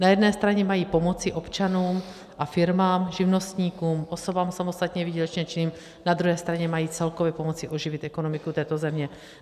Na jedné straně mají pomoci občanům a firmám, živnostníkům, osobám samostatně výdělečně činným, na druhé straně mají celkově pomoci oživit ekonomiku této země.